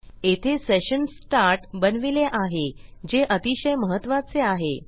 येथे session start बनविले आहे जे अतिशय महत्त्वाचे आहे